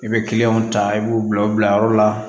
I bɛ kiliyanw ta i b'u bila u bila yɔrɔ la